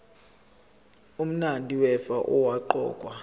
umabi wefa owaqokwa